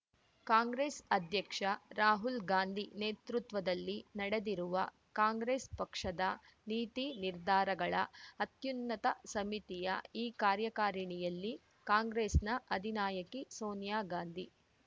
ಕಾಂಗ್ರೆಸ್ ಅಧ್ಯಕ್ಷ ರಾಹುಲ್‌ಗಾಂಧಿ ನೇತೃತ್ವದಲ್ಲಿ ನಡೆದಿರುವ ಕಾಂಗ್ರೆಸ್ ಪಕ್ಷದ ನೀತಿ ನಿರ್ಧಾರಗಳ ಅತ್ಯುನ್ನತ ಸಮಿತಿಯ ಈ ಕಾರ್ಯಕಾರಿಣಿಯಲ್ಲಿ ಕಾಂಗ್ರೆಸ್‌ನ ಅಧಿನಾಯಕಿ ಸೋನಿಯಾಗಾಂಧಿ